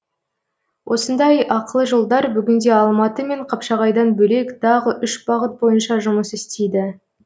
осындай ақылы жолдар бүгінде алматы мен қапшағайдан бөлек тағы үш бағыт бойынша жұмыс істейді